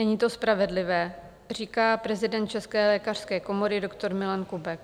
Není to spravedlivé, říká prezident České lékařské komory doktor Milan Kubek.